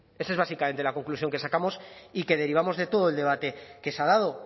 esa es básicamente la conclusión que sacamos y que derivamos de todo el debate que se ha dado